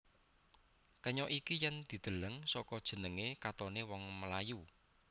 Kenya iki yèn dideleng saka jenengé katonané wong Melayu